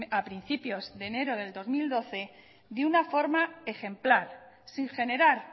a principios de enero de dos mil doce de una forma ejemplar sin generar